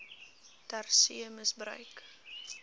ter see misbruik